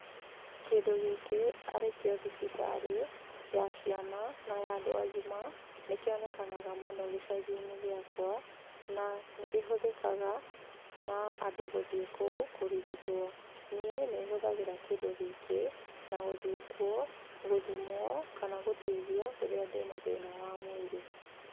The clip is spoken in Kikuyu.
Kĩndũ gĩkĩ arĩkĩo thibitarĩ ya ciana na ya andũ agima, nĩ kĩonekanaga mũno gĩcagi-inĩ gĩakwa, na nĩ kĩhũthĩkaga, na andũ gũthiĩ kũu kũrigitwo. Niĩ nĩ hũthagĩra kĩndũ gĩkĩ na gũthiĩ kuo, gũthimwo kana gũteithio rĩrĩa ndĩna thĩna wa mwĩrĩ.